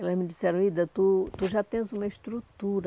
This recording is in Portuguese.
Elas me disseram, tu tu já tens uma estrutura,